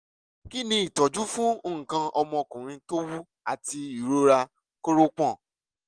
kí ni ìtọ́jú fún nǹkan ọmọkùnrin tó wú àti ìrora kórópọ̀n?